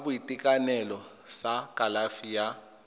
sa boitekanelo sa kalafi ya